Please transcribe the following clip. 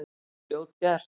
Það er fljótgert.